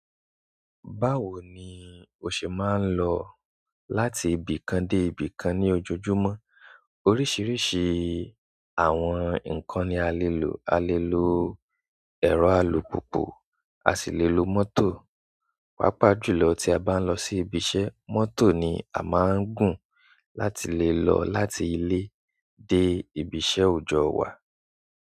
Báwo ni o ṣe máa ń lọ láti ibì kan dé ibì kan ní ojojúmọ́? Oríṣiríṣi àwọn ǹkan ni a lè lò. A lè lo ẹ̀rọ alùpùpù, a sì lè lo mọ́tò. Pápá jù lọ tí a bá ń lọ sí ibiṣẹ́, mọ́tò ni a máa ń gùn láti lè lọ láti ilé dé ibiṣẹ́ òjọ́ wa.